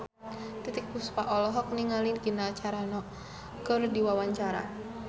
Titiek Puspa olohok ningali Gina Carano keur diwawancara